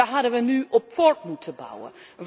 Daar hadden wij nu op voort moeten bouwen.